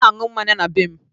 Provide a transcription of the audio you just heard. Ọ na na-aṅụ mmanya na be m